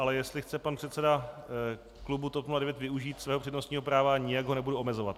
Ale jestli chce pan předseda klubu TOP 09 využít svého přednostního práva, nijak ho nebudu omezovat.